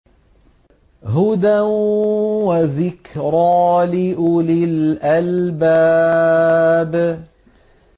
هُدًى وَذِكْرَىٰ لِأُولِي الْأَلْبَابِ